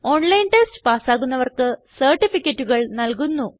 online test പാസ്സാകുന്നവർക്ക് സർട്ടിഫികറ്റുകൾ നല്കുന്നു